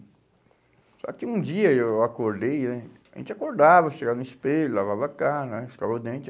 Só que um dia eu acordei eh, a gente acordava, chegava no espelho, lavava a cara né, escovava os dentes...